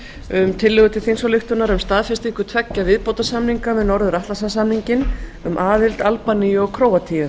um tillögu til þingsályktunar um staðfestingu tveggja viðbótarsamninga við norður atlantshafssamninginn um aðild albaníu og króatíu